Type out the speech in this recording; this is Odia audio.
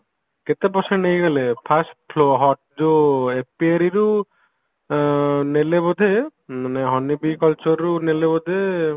କେତେ percent ନେଇଗଲେ first ଯୋଉ ରୁ ଯୋଉ ଆଁ ନେଲେ ବୋଧେ ମାନେ honey bee culture ରୁ ନେଲେ ବୋଧେ